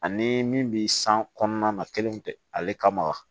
Ani min bi san kɔnɔna na kelen tɛ ale kama